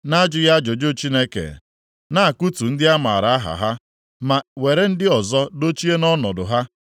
Na-ajụghị ajụjụ Chineke na-akụtu ndị a maara aha ha ma were ndị ọzọ dochie nʼọnọdụ ha.